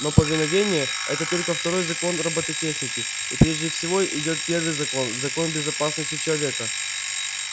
но повиновение это только второй закон роботехники и прежде всего идёт первый закон закон безопасности человека